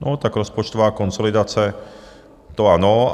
No tak rozpočtová konsolidace, to ano.